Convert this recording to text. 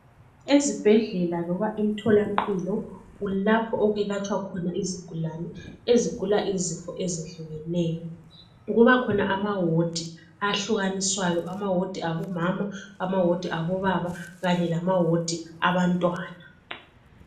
Ezibhedlela loba emtholampilo kulapho okwelatshwa khona izigulane, ezigula izifo ezehlukeneyo. Kubakhona amawodi ahlukaniswayo, omama amawodi abobaba kanye lama wodi abantwana.